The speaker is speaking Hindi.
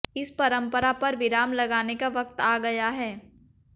इस परंपरा पर विराम लगाने का वक्त आ गया है